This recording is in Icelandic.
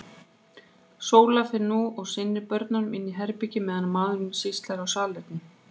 Sóla fer nú og sinnir börnunum inni í herbergi, meðan maðurinn sýslar á salerninu.